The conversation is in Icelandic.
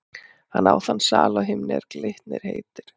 Hann á þann sal á himni, er Glitnir heitir.